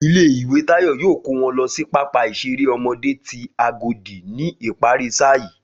Ilé ìwé Táyọ̀ yóò kó wọn lọ sí pápá ìṣeré ọmọdé ti Agodi ni ìparí sáà yìí